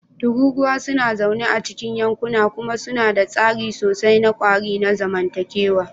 Tururuwa suna zaune a cikin yankuna kuma suna da tsari sosai na ƙwari na zamantakewa.